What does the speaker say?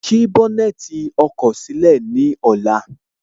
Ṣí iwájú ọkọ̀ sílẹ̀ ní ọ̀la